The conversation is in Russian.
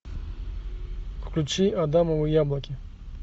включи адамовы яблоки